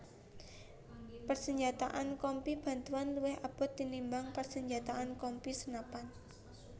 Persenjataan Kompi Bantuan luwih abot tinimbang persenjataan Kompi senapan